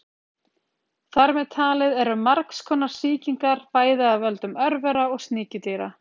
Þar með talið eru margs konar sýkingar, bæði af völdum örvera og sníkjudýra.